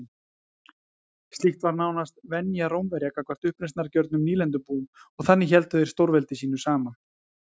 Slíkt var nánast venja Rómverja gagnvart uppreisnargjörnum nýlendubúum og þannig héldu þeir stórveldi sínu saman.